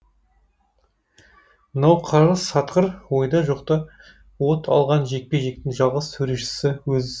мынау қарғыс атқыр ойда жоқта от алған жекпе жектің жалғыз төрешісі өзі